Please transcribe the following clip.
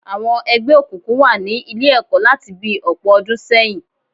Àwọn ẹgbẹ́ òkùnkùn wà ni Ilé-ẹ̀kọ́ láti bi ọ̀pọ̀ ọdún sẹ́yìn